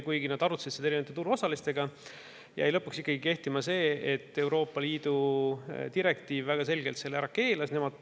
Kuigi nad arutasid seda erinevate turuosalistega, jäi lõpuks ikkagi kehtima, et Euroopa Liidu direktiiv keelas selle väga selgelt ära.